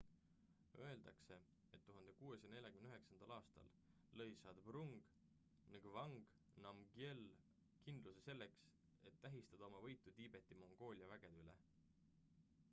öeldakse et 1649 aastal lõi zhabdrung ngawang namgyel kindluse selleks et tähistada oma võitu tiibeti-mongoolia vägede üle